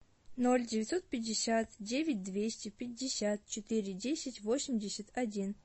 ноль девятьсот пятьдесят девять двести пятьдесят четыре десять восемьдесят один